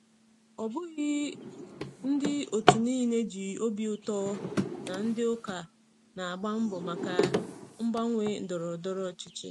Ọ bụghị ndị otu niile ji obi ụtọ na ndị ụka na-agba mbọ maka mgbanwe ndọrọ ndọrọ ọchịchị.